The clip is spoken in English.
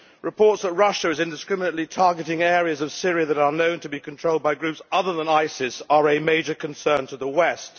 Reports that Russia is indiscriminately targeting areas of Syria that are known to be controlled by groups other than ISIS are a major concern to the West.